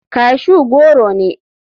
Cashew goro ne.